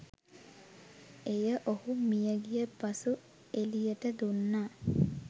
එය ඔහු මියගිය පසු එලියට දුන්නා